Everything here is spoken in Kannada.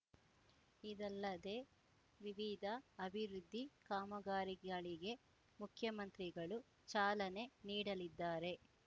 ಇದಲ್ಲದೇ ವಿವಿಧ ಅಭಿವೃದ್ಧಿ ಕಾಮಗಾರಿಗಳಿಗೆ ಮುಖ್ಯಮಂತ್ರಿಗಳು ಚಾಲನೆ ನೀಡಲಿದ್ದಾರೆ